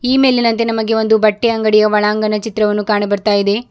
ಈ ಮೇಲಿನಂತೆ ನಮಗೆ ಒಂದು ಬಟ್ಟೆ ಅಂಗಡಿಯ ಒಳಾಂಗಣ ಚಿತ್ರವನ್ನು ಕಾಣ ಬರ್ತಾ ಇದೆ.